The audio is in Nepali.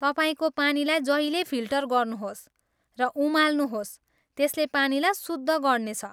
तपाईँको पानीलाई जहिल्यै फिल्टर गर्नुहोस् र उमाल्नुहोस्, त्यसले पानीलाई शुद्ध गर्नेछ।